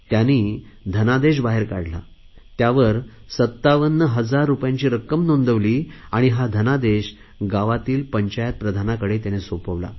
त्याने धनादेश बाहेर काढला त्यावर 57000 रुपयांची रक्कम नोंदवली आणि हा धनादेश गावातील पंचायत प्रधानाकडे सोपवला